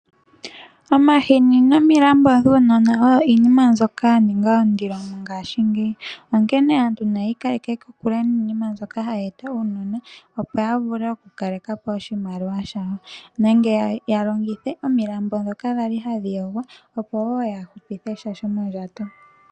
Omahini nominambo dhuunona oyo iinima mbyoka ya ninga ondilo mongaashingeyi. Onkene aantu nayi ikaleke kokule niinima mbyoka hayi eta uunona opo ya vule okukalela po oshimaliwa shawo nenge ya longithe ominambo ndhoka hadhi yogwa opo wo ya hupithe sha shomondjato.